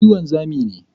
Ni wanzami ne.